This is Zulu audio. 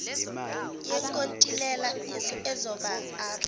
yenkontilela ezoba r